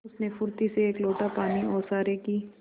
उसने फुर्ती से एक लोटा पानी ओसारे की